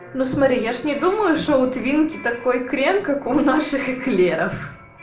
ну смотри я же не думаю что у твинки такой крем как у наших эклеров